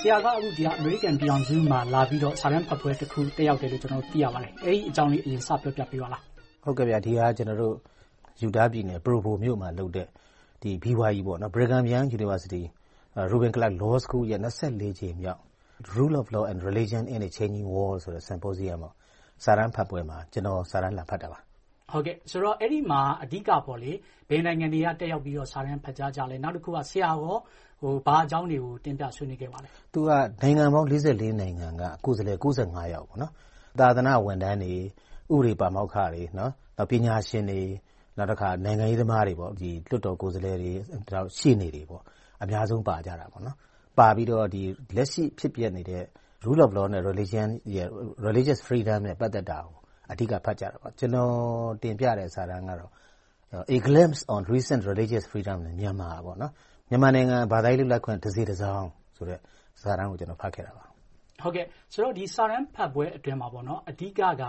ဆရာက အခု အမေရိကန်ပြည်ထောင်စုကို လာပြီးတော့ စာတမ်းဖတ်ပွဲတစ်ခု တက်ရောက်တယ်လို့ ကျနော်တို့ သိရပါတယ်။ အဲဒီအကြောင်းလေး စပြီးပြောပြပေးပါလား။ ဒီဟာက Utah ပြည်နယ် Provo မြို့မှာလုပ်တဲ့ BYU J. Reuben Clark Law School ရဲ့ ကြိမ်မြောက် Rule of Law and Religions in a Changing World ဆိုတဲ့ Symposium စာတမ်းဖတ်ပွဲမှာ စာတမ်းလာဖတ်တာပါ။ အဲဒီမှာ အဓိက ဘယ်နိုင်ငံတွေက တက်ရောက်ပြီးတော့ စာတမ်းဖတ်ကြားကြလဲ။ ဆရာအနေနဲ့ ဘာအကြောင်းတွေကို တင်ပြဆွေးနွေးခဲ့ပါလဲ။ နိုင်ငံပေါင်း နိုင်ငံက ကိုယ်စားလှယ် ယောက် - သာသနာဝန်ထမ်းတွေ၊ ဥပဒေပါမောက္ခတွေ၊ ပညာရှင်တွေ၊ နိုင်ငံရေးသမားတွေ၊ လွှတ်တော်ကိုယ်စားလှယ်တွေ၊ ရှေ့နေတွေ အများဆုံးပါကြပါတယ်။ သူတို့တွေက လက်ရှိဖြစ်ပျက်နေတဲ့ Rule of Law and Religious Freedom နဲ့ ပတ်သက်တာတွေကို အဓိက ဖတ်ကြားကြပါတယ်။ ကျနော် တင်ပြတဲ့ စာတမ်းကတော့ A Glance on Recent Religious Freedom in Myanmar မြန်မာနိုင်ငံရဲ့ ဘာသာရပ်လွတ်လပ်ခွင့် တစေ့တစောင်း ဆိုတဲ့ စာတမ်းကို ဖတ်ခဲ့တာပါ။ ဒီစာတမ်းဖတ်ပွဲအတွင်းမှာ အဓိကက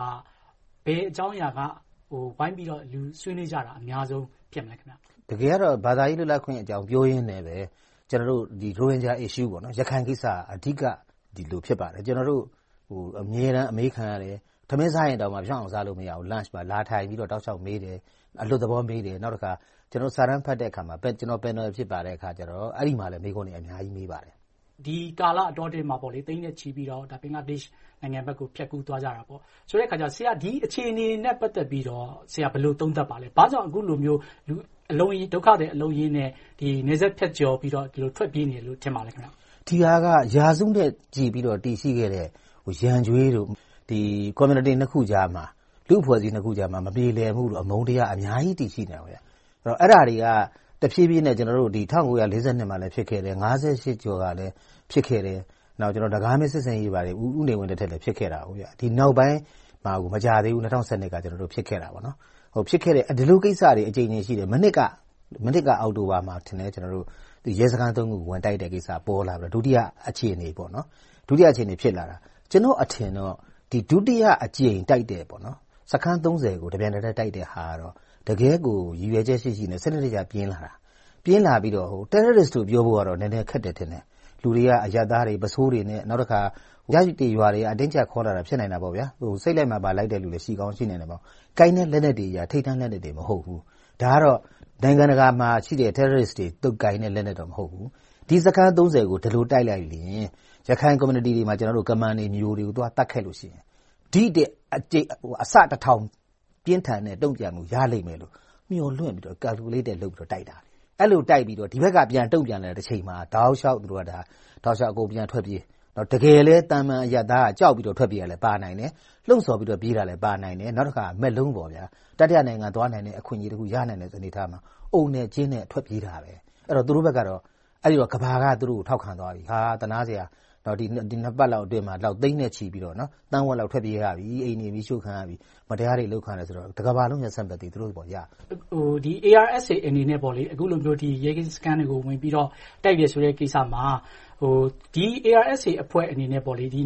ဘယ်အကြောင်းအရာက ဝိုင်းပြီးတော့ ဆွေးနွေးကြတာ အများဆုံး ဖြစ်ခဲ့လဲ။ တကယ်ကတော့ ဘာသာရပ် လွတ်လပ်ခွင့်အကြောင်း ပြောကြရင်နဲ့ ကျနော်တို့ ရိုဟင်ဂျာ Issue ရခိုင်ကိစ္စက အဓိက ဖြစ်လာပါတယ်။ ကျနော်တို့ အမြဲတမ်း အမေးခံရတယ်။ ထမင်းစားရင်တောင် ဖြောင့်အောင် မစားရဘူး။ ဘေးနားလာထိုင်ပြီးတော့ တောက်လျှောက်မေးတယ်။ အလွတ်သဘောမေးတယ်။ နောက်တခါ စာတမ်းဖတ်တဲ့အခါမှာ ကျနော် Panal ဖြစ်တဲ့အခါ အဲဒီမှာ မေးခွန်းတွေ အများကြီး မေးပါတယ်။ ဒီကာလအတောအတွင်းမှာ သိန်းနဲ့ချီပြီးတော့ ဘင်္ဂလားဒေ့ရှ်နိုင်ငံဘက်ကို ဖြတ်ကူးသွားကြတာပေါ့။ ဆိုတဲ့အခါကြတော့ ဒီအခြေအနေတွေနဲ့ ပတ်သက်ပြီးတော့ ဘယ်လို သုံးသပ်ပါလဲ။ ဘာကြောင့် အခုလိုမျိုး ဒုက္ခသည် အလုံးအရင်းနဲ့ နယ်စပ်ဖြတ်ကျော်ပြီးတော့ ထွက်ပြေးနေတယ်လို့ ထင်ပါလဲ။ ဒီဟာက ရာစုနှစ်နဲ့ချီ တည်ရှိခဲ့တဲ့ ရန်ကြွေးနဲ့ ကွန်မြူနီတီ နှစ်ခုကြား၊ လူ့အဖွဲ့စည်းနှစ်ခုကြားမှာ မပြေလည်မှုနဲ့ အမုန်းတရာတွေ အများကြီး တည်ရှိနေခဲ့တယ်။ အဲဒါတွေက တဖြည်းဖြည်းနဲ့ ၁၉၄၂ မှာ ဖြစ်ခဲ့တယ်။ ၁၉၅၈ ကျော်ကလည်း ဖြစ်ခဲ့တယ်။ ဦးနေဝင်းလက်ထက်မျှာ နင်္ဂါမင်း စစ်ဆင်ရေးလည်း ဖြစ်ခဲ့တယ်။ နောက်ပိုင်းမှာလည်း မကြာသေးဘူး ၂၀၁၂ က ဖြစ်ခဲ့တယ်။ ဒီလိုကိစ္စတွေ အကြိမ်ကြိမ် ရှိခဲ့တယ်။ မနှစ်က အောက်တိုဘာမှာ ရဲစခန်း ခု ဝင်တိုက်တဲ့ကိစ္စ ပေါ်လာမယ် - ဒုတိယအခြေအနေပေါ့။ ကျနော့်အထင်တော့ ဒုတိယအကြိမ် တိုက်တဲ့ စခန်း ကို တပြိုင်နက်တည်း တိုက်တဲ့ဟာကတော့ တကယ့်ကို ရည်ရွယ်ချက်ရှိရှိနဲ့ စနစ်တကျ ပြင်ဆင်လာတာ။ ပြင်ဆင်လာပြီးတော့ Terrorists လို့ ပြောဖို့ကတော့ နည်းနည်းခက်တယ်ထင်တယ်။ လူတွေက အရပ်သားတွေ ပုဆိုးတွေနဲ့ နောက်တခါ ရပ်ရွာတွေက အတင်းအကြပ်ခေါ်လာတာလည်း ဖြစ်နိုင်တယ်။ စိတ်လိုက်မာန်ပါ လိုက်တယ်လူလည်း ရှိကောင်းရှိနိုင်တယ်။ ကိုင်တဲ့လက်နက်တွေက ထိပ်တန်းလက်နက်တွေ မဟုတ်ဘူး။ ဒါကတော့ နိုင်ငံတကာမှာရှိတဲ့ Terrorists တွေ ကိုင်တဲ့ လက်နက်မျိုးတွေတော့ မဟုတ်ဘူး။ ဒီစခန်း ကို ဒီလိုတိုက်လိုက်ရင် ရခိုင်ကွန်မြူနီတီတွေမှာ ကမန်တွေ၊ မြူတွေကို သတ်ဖြတ်ခဲ့လို့ရှိရင် ဒီထက်အဆ တစ်ထောင်ပြင်းထန်တဲ့ တုံ့ပြန်မှု ရလိမ့်မယ်လို့ မျှော်လင့်ပြီးတော့ Caculated လုပ်ပြီးတော့ တိုက်တာ။ ဒီဘက်က ပြန်တုံ့ပြန်လိုက်တဲ့အချိန်မှာ တောက်လျှောက် အကုန်ပြန်ထွက်ပြေး။ တကယ်လဲ သာမန်အရပ်သားက ကြောက်ပြီးတော့ ထွက်ပြေးတာလည်း ပါနိုင်တယ်။ လှုံဆော်ပြီးတော့ ပြေးတာလည်း ပါနိုင်တယ်။ နောက်တခါ “မက်လုံး - တတိယနိုင်ငံကို သွားနိုင်တဲ့ အခွင့်အရေးတခု ရနိုင်တဲ့ အနေအထားတွေကြောင့် အုံနဲ့ကျင်းနဲ့ ထွက်ပြေးနေတာပဲ။ သူတို့ဘက်ကတော့ အဲဒီတုန်းက ကမ္ဘာက သူတို့ကို ထောက်ခံသွားပြီ။ သနားစရာ နှစ်ပတ်လောက်အတွင်းမှာ သိန်းနဲ့ချီပြီးတော့ သန်းဝက်လောက် ထွက်ပြေးခဲ့ရပြီ။ မတရားတွေ အလုပ်ခံရတယ်ဆိုတော့ တကမ္ဘာလုံးရဲ့ Sympathy သူတို့အပေါ်ရရှိခဲ့တယ်။ ARSA အနေနဲ့ အခုလိုမျိုး ရဲကင်းစခန်းတွေ ဝင်ပြီးတော့ တိုက်တယ်ဆိုတဲ့ကိစ္စမှာ ဒီ ARSA အဖွဲ့အနေနဲ့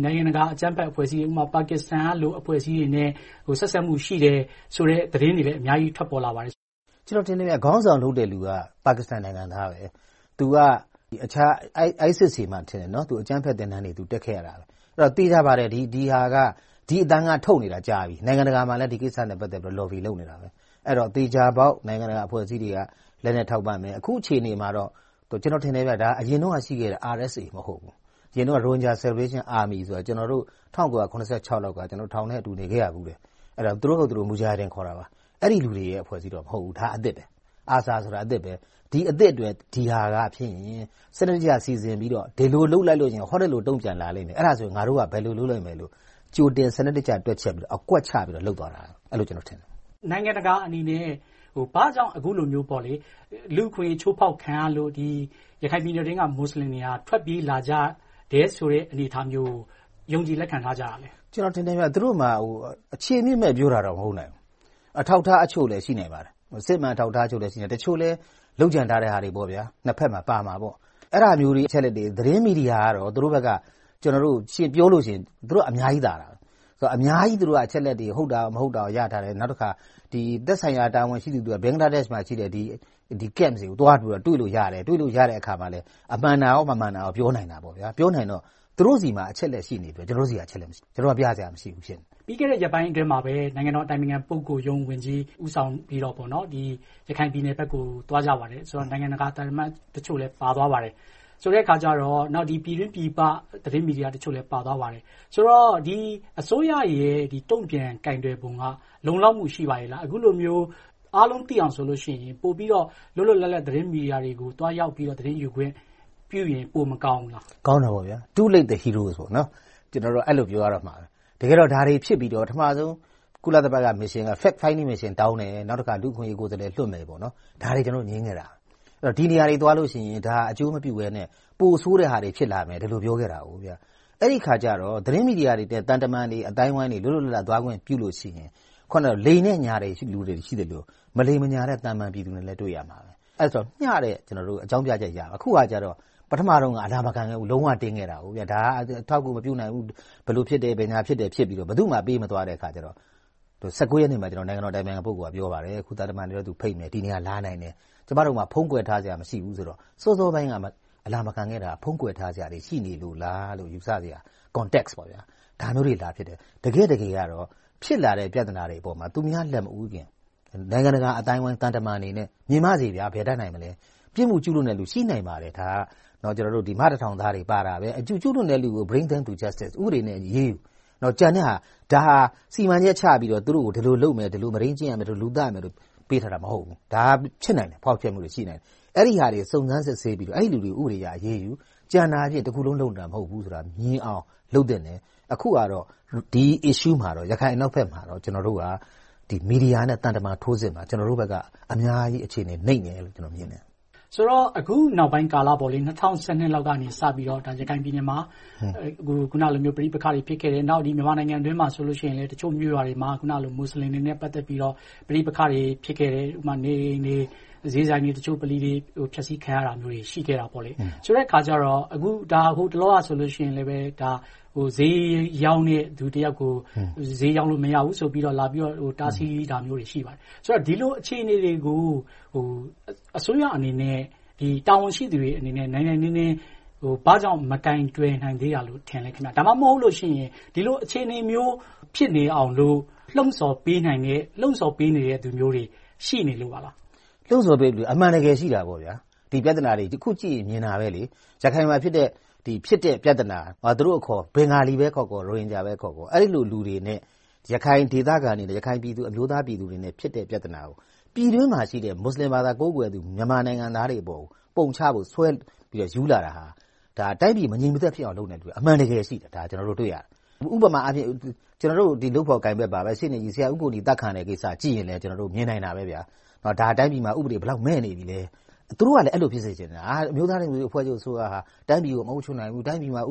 နိုင်ငံတကာ အကြမ်းဖက်အဖွဲ့အစည်းတွေမှာ ပါကစ္စတန်ကလို အဖွဲ့အစည်းတွေနဲ့ ဆက်စပ်မှုရှိတယ်လို့ သတင်းတွေလည်း ထွက်ပေါ်လာပါတယ်။ ကျနော်ထင်တယ် ခေါင်းဆောင်လုပ်တဲ့လူက ပါကစ္စတန်နိုင်ငံသား။ သူက IS တွေမှာထင်တယ်။ အကြမ်းဖက်သင်တန်းတွေ တက်ခဲ့တယ်။ သေချာပါတယ်။ ဒီအသံက ထုတ်နေတာ ကြာပြီ။ နိုင်ငံတကာမှာလည်း ဒီကိစ္စနဲ့ ပတ်သက်လို့ Lobby လုပ်နေတာပဲ။ ဒီတော့ သေချာပေါက် နိုင်ငံတကာအဖွဲ့အစည်းတွေက လက်နက်ထောက်ပံ့မယ်။ အခုအခြေအနေမှာပဲကျနော်ထင်တယ် အရင်တုန်းကရှိခဲ့တာ ARSA မဟုတ်ဘူး။ အရင်တုန်းက Rohingya Salvation Army ဆိုပြီး ကျနော်တို့ ၁၉၇၆ ခုနှစ်လောက်က ထောင်ထဲအတူတူ နေခဲ့ရဖူးတယ်။ အဲဒီလူတွေက သူတို့ကိုယ်သူတို့ မူဂျာဟစ်ဒင်လို့ ခေါ်တာပါ။ အဲဒီလူတွေရဲ့ အဖွဲ့အစည်းတော့ မဟုတ်ဘူး။ ဒါက အသစ်ဖြစ်တယ်။ ဒီအသစ်အတွက် ဒီဟာကဖြစ်ရင် စနစ်တကျ စီစဉ်ပြီးတော့ ဒီလိုလုပ်လိုက်လို့ ဟိုဒီလို တုံ့ပြန်လာလိမ့်မယ်။ အဲဒီအခါ ငါတို့က ဘယ်လို့လုပ်လိမ့်မယ်လို့ ကြိုတင်စနစ်တကျ တွက်ချက်ပြီးတော့ အကွက်ချပြီးတော့ လုပ်သွားတာ။ အဲဒီလိုထင်တယ်။ နိုင်ငံတကာအနေနဲ့ ဘာကြောင့် အခုလိုမျိုး လူ့အခွင့်အရေး ချိုးဖောက်ခံရလို့ ရခိုင်ပြည်နယ်အတွင်းက မူစလင်တွေဟာ ထွက်ပြေးလာကြတယ်ဆိုတဲ့ အနေအထားမျိုးကို ယုံကြည်လက်ခံထားရမယ်။ သူတို့မှာ အခြေအမြစ် ပြောတာတော့ မဟုတ်နိုင်ဘူး။ အထောက်အထားအချို့လည်း ရှိနိုင်ပါတယ်။ အစစ်အမှန် အထောက်အထားတချို့လည်း ရှိနိုင်ပါတယ်။ တချို့လည်း လုပ်ကြံထားတာတွေ။ နှစ်ဘက်မှာပါမှာပေါ့။ အဲဒါမျိုး အချက်အလက်တွေကို သတင်းမီဒီယာကတော့ သူတို့ဘက်က ယှဉ်ပြောလို့ရှိရင် သူတို့က အများကြီးသာတယ်။ အများကြီး သူတို့တွေက အချက်အလက်တွေ ဟုတ်တာကော မဟုတ်တာကော ရထားတယ်။ နောက်တခါ သက်ဆိုင်ရာ တာဝန်ရှိသူအတွက် ဘင်္ဂလားဒေ့ရှ်မှာရှိတဲ့ Camp တွေကို သွားပြီးတွေ့လို့ရတယ်။ တွေ့လို့ရတဲ့အခါမှာလည်း မှန်တာကော မမှန်တာကော ပြောလို့ရတယ်။ ပြောနိုင်တော့ သူတို့မှာ အချက်အလက်ရှိနေပြီး ကျနော်တို့က ပြစရာမရှိဘူး ဖြစ်နေတယ်။ ပြီးခဲ့တဲ့ ရက်ပိုင်းအတွင်းမှာပဲ နိုင်ငံတော်အတိုင်ပင်ခံ ပုဂ္ဂိုလ်ရုံးဝန်ကြီး ဦးဆောင်ပြီးတော့ ရခိုင်ပြည်နယ်ဘက်ကို သွားကြပါတယ်။ နိုင်ငံတကာ သံအမတ်တချို့လည်း ပါသွားပါတယ်။ ဆိုတဲ့အခါကြတော့ ပြည်တွင်းပြည်ပ သတင်းမီဒီယာတချို့လည်း ပါသွားပါတယ်။ ဆိုတော့ အစိုးရရဲ့ တုံ့ပြန်ကိုင်တွယ်ပုံက လုံလောက်မှု ရှိပါရဲ့လား။ အခုလိုမျိုး အားလုံးသိအောင် ဆိုလို့ရှိရင် ပိုပြီးတော့ လွတ်လွတ်လပ်လပ် သတင်းမီဒီယာတွေကို သွားရောက်ပြီးတော့ သတင်းယူခွင့်ပြုရင် မကောင်းဘူးလား။ ကောင်းတာပေါ့။ Too late to hero… ကျနော်တို့က အဲဒီလို ပြောရတော့မယ်။ တကယ်တော့ ဒါတွေဖြစ်ပြီးတော့ ပထမဦးဆုံး ကုလသမဂ္ဂ Mission က Fact finding mission တောင်းတယ်။ နောက်တခါ လူ့အခွင့်အရေးကိုယ်စားလှယ် လွှတ်မယ်ပေါ့။ ဒါတွေကို ကျနော်တို့ ငြင်းခဲ့တယ်။ ဒီနေရာတွေကို ဒါတွေသွားလို့ရှိရင် အကျိုးမပြုဘဲနဲ့ ပိုဆိုးတဲ့ဟာတွေ ဖြစ်လာမယ်လို့ ပြောခဲ့တယ်။ အဲဒီအခါကြတော့ သတင်းမီဒီယာတွေနဲ့ သံတမန်အသိုင်းအဝိုင်းတွေ လွတ်လွတ်လပ်လပ်သွားခွင့် ပြုလုပ်လို့ရှိရင် လိမ်တဲ့ညာတဲ့လူတွေ ရှိသလို၊ မလိမ်မညာတဲ့ သာမန်ပြည်သူတွေနဲ့လည်း တွေ့ရမှာပဲ။ အဲဒီအခါ မျှတဲ့အကြောင်းပြချက်ရမယ်။ အခုက ပထမတုန်းက အလာမခံခဲ့ဘူး၊ လုံးဝတင်းခဲ့တာ။ ဒါက အထောက်အကူ မပြုနိုင်ဘူး။ ဘယ်လိုဖြစ်တယ် ဘယ်ညာဖြစ်တယ် ဖြစ်ခဲ့ပြီးတော့ ဘယ်သူ့မှ ပေးမသွားတဲ့အခါကြတော့ ရက်နေ့မှာ နိုင်ငံတော်အတိုင်ပင်ခံ ပုဂ္ဂိုလ်က ပြောပါတယ်… အခု သံတမန်တွေကို ဖိတ်မယ်။ ဒီနေရာကို လာနိုင်တယ်။ ကျမတို့မှာ ဖုံးကွယ်ထားစရာ မရှိဘူးဆိုတော့ စောစောပိုင်းက အလာမခံခဲ့တာ ဖုံးကွယ်ထားစရာတွေ ရှိနေလို့လား ယူဆစရာ Context ဒါမျိုးတွေ လာဖြစ်တယ်။ တကယ့်တကယ်ကတော့ ဖြစ်လာတဲ့ ပြဿနာတွေပေါ်မှာ သူများလက်မဦးခင် နိုင်ငံတကာအသိုင်းအဝိုင်း သံတမန်တွေ မြင်ပါစေ… ဘယ်တတ်နိုင်မလဲ ပြစ်မှုကျူးလွန်သူ ရှိနိုင်ပါတယ်။ ဒါက မတစ်ထောင်သားတွေ ပါတယ်။ ကျူးလွန်တဲ့သူကို Bring to the justice ဥပဒေနဲ့အညီ အရေးယူ။ ကျန်တဲ့ဟာကို စီမံချက်ချပြီးတော့ သူတို့ကို ဒီလိုလုပ်မယ် ဒီလို မဒိမ်းကျင့်ရမယ်၊ လူသတ်ရမယ်လို့ ပေးမထားဘူး။ ဒါက ဖြစ်နိုင်တယ်။ ဖောက်ဖျက်မှုတွေ ရှိနိုင်တယ်။ အဲဒါတွေကို စုံစမ်းစစ်ဆေးပြီးတော့ အဲဒီလူတွေကို ဥပဒေအရ အရေးယူ။ ကျန်တာတွေကို တခုလုံးလုပ်နေတာ မဟုတ်ဘူးလို့ လုပ်သင့်တယ်။ အခုဟာကတော့ ဒီ Issue ရခိုင်အနောက်ဘက်မှာတော့ ကျနော်တို့က မီဒီယာနဲ့ သံတမန် ထိုးစစ်မှာ ကျနော်တို့ဘက်က အမြောက်အမြား အခြေအနေ နိမ့်တယ်လို့ ကျနော်မြင်တယ်။ အခုနောက်ပိုင်းကာလ ၂၀၁၂ လောက်ကစပြီးတော့ ရခိုင်ပြည်နယ်မှာ ပဋိပက္ခတွေ။ နောက်မြန်မာနိုင်ငံအတွင်းမှာ တချို့မြို့ရွာတွေမှာ မူစလင်တွေနဲ့ ပတ်သက်ပြီးတော့ ပဋိပက္ခတွေ ဖြစ်ခဲ့တယ်။ ဥပမာ နေအိမ်တွေ၊ ဈေးဆိုင်တွေ၊ ဗလီတချို့ ဖျက်ဆီးခံရတာမျိုးတွေ ရှိခဲ့တယ်။ ဆိုတဲ့အခါကြတော့ ဟိုတလောကဆိုရင်လဲ ဈေးရောင်းတဲ့ လူကြီးတယောက်ကို ဈေးရောင်းလို့ မရဘူးဆိုပြီး လာပြီးတော့ တားဆီးတာမျိုးတွေ ရှိပါတယ်။ ဆိုတော့ ဒီလိုအခြေအနေတွေကို အစိုးရအနေနဲ့ တာဝန်ရှိသူအနေနဲ့ နိုင်နိုင်နင်းနင်း မကိုင်တွယ်နိုင်သေးတာလို့ ထင်လဲ။ ဒါမှမဟုတ် ဒီလိုအခြေအနေမျိုး ဖြစ်နေအောင်လို့ လှုံဆော်ပေးနိုင်တဲ့ လှုံဆော်ပေးနေသူတွေ ရှိနေလို့ပါလား။ လှုံဆော်တဲ့လူတွေ အမှန်တကယ် ရှိတာပေါ့။ ဒီပြဿနာတွေကိုကြည့်ရင် မြင်တာပဲ။ ရခိုင်မှာဖြစ်တဲ့ ပြဿနာက သူတို့အခေါ် ဘင်္ဂလီခေါ်ခေါ် ရိုဟင်ဂျာခေါ်ခေါ် အဲဒီလိုလူတွေနဲ့ ရခိုင်ပြည်သူ၊ အမျိုးသားပြည်သူတွေနဲ့ ဖြစ်တဲ့ပြဿနာကို ပြည်တွင်းမှာရှိတဲ့ မူစလင်ဘာသာဝင် မြန်မာနိုင်ငံသားတွေပေါ် ပုံချပြစ်တင်ဖို့ ဆွဲပြီးယူလာတာဟာ တိုင်းပြည်မငြိမ်မသက်ဖြစ်အောင် လုပ်နေသူတွေ အမှန်တကယ် ရှိနေတာကို ကျနော်တို့ တွေ့ရတယ်။ ဥပမာ ကျနော်တို့ လုပ်ဖော်ကိုင်ဖက်ပါပဲ ရှေ့နေကြီး ဆရာဦးကိုနီ အသတ်ခံရတဲ့ကိစ္စကို ကြည့်လိုက်ရင် မြင်နိုင်တာပဲ တိုင်းပြည်မှာ ဘယ်လောက်အထိ ဥပဒေမဲ့နေပြီလဲ ။ သူတို့ကလည်း အဲဒီလို ဖြစ်စေချင်တာ။ အမျိုးသားဒီမိုကရေစီအဖွဲ့ချုပ်ဟာ တိုင်းပြည်ကို မအုပ်ချုပ်နိုင်ဘူး။ တိုင်းပြည်မှာ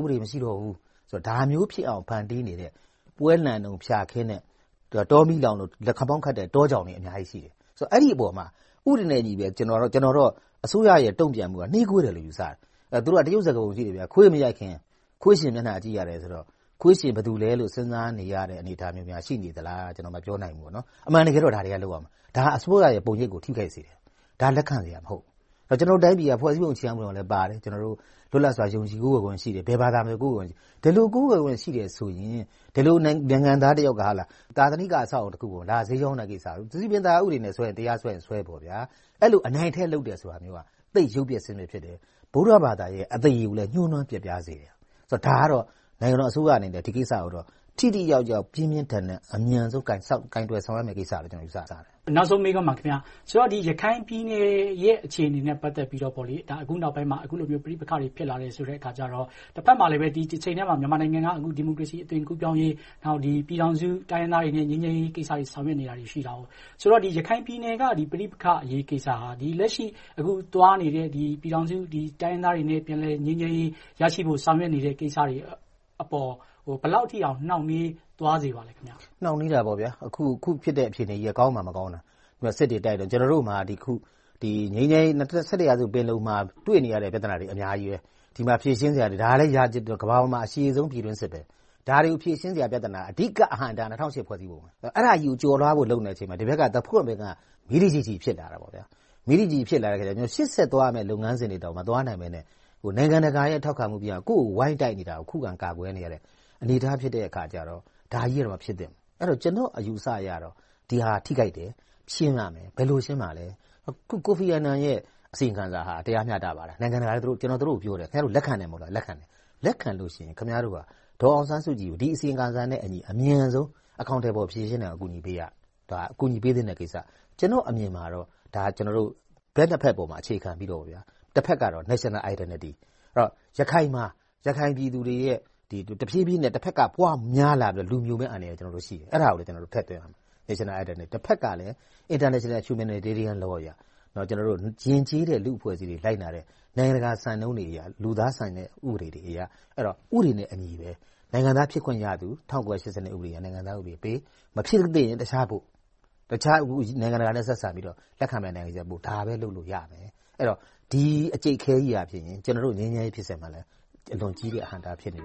ဒါမျိုးဖြစ်အောင် ဖန်တီးနေတဲ့ ပွဲလန့်တုန်း ဖျာခင်းတဲ့၊ တောမီးလောင်လို့ လက်ခမောင်းခတ်တဲ့ တောကြောင်တွေ အများကြီးရှိတယ်။ အဲဒီအပေါ်မှာ ဥပဒေနဲ့အညီပဲ ကျနော်တော့ အစိုးရရဲ့ တုံ့ပြန်မှုက နှေးကွေးတယ်လို့ ယူဆတယ်။ တရုတ်စကားပုံရှိတယ် ခွေးမရိုက်ခင် ခွေးရှင်မျက်နှာကြည့်ရတယ်။ ခွေးရှင် ဘယ်သူလဲဆိုတာ စဉ်းစားနေရတဲ့ အနေအထားများ ရှိနေမလား ကျနော် မပြောနိုင်ဘူး။ အမှန်တကယ်တော့ ဒါတွေကို လုပ်ရမယ်။ ဒါက အစိုးရရဲ့ ပုံရိပ်ကို ထိခိုက်စေတယ်။ ဒါက လက်ခံစရာ မဟုတ်ဘူး။ ကျနော်တို့တိုင်းပြည်က ဖွဲ့စည်းပုံ အခြေခံဥပဒေမှာလည်းပါတယ် လွတ်လပ်စွာ ယုံကြည်ကိုးကွယ်ခွင့် ရှိတယ်။ ဘယ်ဘာသာမဆို ကိုးကွယ်ခွင့်ရှိတယ်။ ဒီလို ကိုးကွယ်ခွင့်ရှိတယ်ဆိုရင် ဒီလိုနိုင်ငံသားက သာသနိက အဆောက်အအုံတခုကို ဈေးရောင်းတဲ့ကိစ္စ။ စည်ပင်ဥပဒေနဲ့ဆွဲရင် တရားဝင်ဆွဲပေါ့။ အဲဒီလို နိုင်ထက်စီးနှင်း အဲဒီလို အနိုင်အထက်လုပ်တာမျိုးက သိပ်ရုပ်ပျက်ဆင်ပျက် ဖြစ်တယ်။ ဗုဒ္ဓဘာသာရဲ့ အသရေကိုလည်း ညှိုနွမ်းပျက်ပြားစေတယ်။ နိုင်ငံတော်အစိုးရအနေနဲ့ ဒီကိစ္စကိုတော့ ထိထိရောက်ရောက်၊ ပြင်းပြင်းထန်ထန်၊ အမြန်ဆုံး ကိုင်တွယ်ရမယ့်ကိစ္စလို့ ယူဆတယ်။ နောက်ဆုံးမေးခွန်းပါ။ ရခိုင်ပြည်နယ်ရဲ့ အခြေအနေနဲ့ ပတ်သက်ပြီးတော့ အခုနောက်ပိုင်းမှာ အခုလိုမျိုး ပဋိပက္ခတွေ ဖြစ်လာတဲ့အခါကြတော့ တဘက်မှာလည်း ဒီတချိန်တည်းမှာ မြန်မာနိုင်ငံက ဒီမိုကရေစီအသွင် ကူးပြောင်းရေး၊ ပြည်ထောင်စုတိုင်းရင်းသားတွေနဲ့ ငြိမ်းချမ်းရေးကိစ္စတွေ ဆောင်ရွက်နေတာ ရှိတယ်။ ဆိုတော့ ရခိုင်ပြည်နယ်က ပဋိပက္ခအရေးကိစ္စဟာ လက်ရှိသွားနေတဲ့ ပြည်ထောင်စု တိုင်းရင်းသားတွေနဲ့ ပြန်လည်ငြိမ်းချမ်းရေး ရရှိဖို့ ဆောင်ရွက်နေတဲ့ကိစ္စတွေအပေါ် ဘယ်လောက်ထိ နှောင့်နှေးသွားစေပါလဲ။ နှောင့်နှေးတာပေါ့။ အခုဖြစ်တဲ့ ဖြစ်ရပ်ကြီးက ကောင်းမှမကောင်းတာ။ စစ်တွေတိုက်နေတယ်။ ကျနော်တို့မှာ နှစ်ဆယ့်တစ်ရာစု ပင်လုံမှာ တွေ့နေရတဲ့ ပြဿနာတွေ အများကြီး။ ဒီမှာဖြေရှင်းစရာတွေ အများကြီး။ ကမ္ဘာပေါ်မှာ အရှည်ဆုံး ပြည်တွင်းစစ် - ဒါတွေကို ဖြေရှင်းစရာ အဓိက အဟန့်အတားက ၂၀၀၈ ဖွဲ့စည်းပုံ။ အဲဒါကြီးကို ကျော်လွှာဖို့ လုပ်နေချိန်မှာ ဒီဘက်က သပွတ်ပင်က မီးတကျီကျီ ဖြစ်လာတာပေါ့။ ရှေ့ဆက်သွားရမယ့် လုပ်ငန်းစဉ်တွေတောင် မသွားနိုင်ဘဲနဲ့ နိုင်ငံတကာရဲ့ ထောက်ခံမှုမရဘဲ ကိုယ့်ကိုယ်ဝိုင်းတိုက်နေတာကို ခုခံကာကွယ်နေရတယ့် အနေအထားဖြစ်ရတဲ့အခါကြတော့ ဒါကြီးက မဖြစ်သင့်ဘူး။ ကျနော့်အယူအဆအရတော့ ဒီဟာက ထိခိုက်တယ်။ ရှင်းရမယ်။ ဘယ်လိုရှင်းမလဲ။ ကိုဖီအာနန်ရဲ့ အစီရင်ခံစာဟာ တရားမျှတပါတယ်။ နိုင်ငံတကာလည်း - ကျနော် သူတို့ကို ပြောတယ်။ ခင်များတို့ လက်ခံနိုင်သလား။ လက်ခံတယ်။ လက်ခံလို့ရှိရင် ခင်များတို့က ဒေါ်အောင်ဆန်းစုကြည်ကို ဒီအစီရင်ခံစာနဲ့အညီ အမြန်ဆုံး အကောင်အထည်ဖော် ဖြေရှင်းနိုင်အောင် အကူအညီပေးရမယ်။ ဒါက အကူအညီပေးသင့်တဲ့ကိစ္စ။ ကျနော့်အမြင်မှာတော့ ကျနော်တို့ ဘက်နှစ်ဖက်ပေါ် အခြေခံပြီးတော့ တဘက်ကတော့ National Identity, ရခိုင်မှာ ရခိုင်ပြည်သူတွေရဲ့ တဖြည်းဖြည်းနဲ့ တဘက်က ပွားများလာပြီးတော့ လူမြိုမယ့်အန္တရာယ်ရှိတယ်။ အဲဒါကိုလည်း ကျနော်တို့ ထည့်တွက်ရမယ်။ တဘက်ကလည်း International Humanitarian Law အရ ယဉ်ကျေးတဲ့ လူ့အဖွဲ့အစည်းတွေ လိုက်နာတဲ့ နိုင်ငံတကာ စံနှုန်းတွေအရ လူသားဆန်တဲ့ ဥပဒေတွေအရ ဥပဒေနဲ့အညီ နိုင်ငံသားဖြစ်ခွင့်ရသူ ၁၉၈၂ နိုင်ငံသားဥပဒေနဲ့ ပေး။ မဖြစ်သင့်ရင် တခြားပို့။ နိုင်ငံတကာနဲ့ ဆက်ဆံပြီးတော့ လက်ခံမယ့်နိုင်ငံကိုပို့ ဒါပဲ လုပ်လို့ရမယ်။ အဲဒီတော့ ဒီအကြိတ်အခဲကြီးက ကျနော်တို့ ငြိမ်းချမ်းရေးဖြစ်စဉ်မှာလည်း အလွန်ကြီးတဲ့ အဟန့်အတား ဖြစ်နေတယ